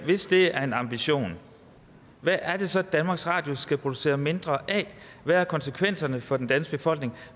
hvis det er en ambition hvad er det så danmarks radio skal producere mindre af hvad er konsekvenserne for den danske befolkning